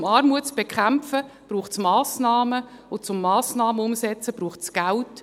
Um Armut zu bekämpfen, braucht es Massnahmen, und um Massnahmen umzusetzen, braucht es Geld.